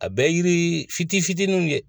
A bɛɛ ye yiri fitiinin fitiininw ye.